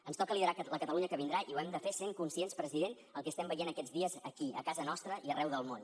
ens toca liderar la catalunya que vindrà i ho hem de fer sent conscients president del que estem veient aquests dies aquí a casa nostra i arreu del món